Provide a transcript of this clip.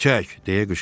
çək, deyə qışqırdı.